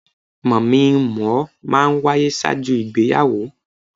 Mọ̀-mí - n-mọ̀-ọ́ máa ń wáyé ṣáájú ìgbéyàwó.